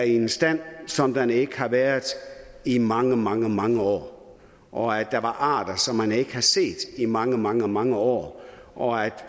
i en stand som den ikke havde været i mange mange mange år og at der var arter som man ikke havde set i mange mange mange år og at